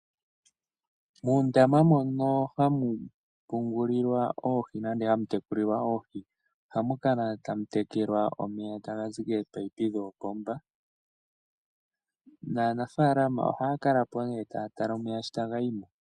Moondama mono hamu pungulilwa nenge hamu tekulilwa oohi, ohamu kala tamu tekelwa omeya tagazi koopomba. Naanafaalama ohaya kalapo nee, taya tala omeya shi taga yimo.